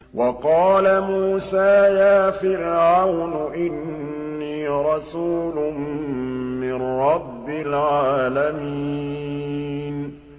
وَقَالَ مُوسَىٰ يَا فِرْعَوْنُ إِنِّي رَسُولٌ مِّن رَّبِّ الْعَالَمِينَ